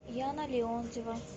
яна леонтьева